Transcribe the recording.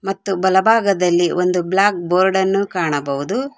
ಮತ್ತು ಬಲಭಾಗದಲ್ಲಿ ಒಂದು ಬ್ಲಾಕ್ ಬೋರ್ಡನ್ನು ಕಾಣಬಹುದು.